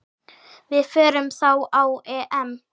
Við förum þá á EM.